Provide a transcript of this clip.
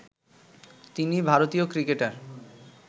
তিনি ভারতীয় ক্রিকেটার